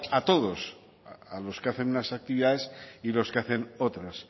a todos a los que hacen unas actividades y los que hacen otras